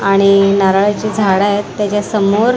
आणि नारळाची झाड आहेत त्याच्यासमोर--